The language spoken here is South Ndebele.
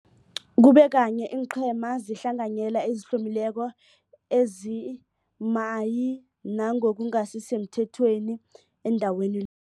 kube kanye iinqhema zehlanganyela ezihlomileko ezimayi nangokungasi semthethweni endaweni